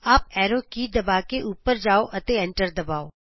up arrow ਕੀ ਦਬਾ ਕੇ ਉਪਰ ਜਾਉ ਅਤੇ ਐਂਟਰ ਦਬਾਉ